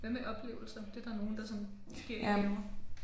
Hvad med oplevelser? Det er der nogen der sådan giver i gaver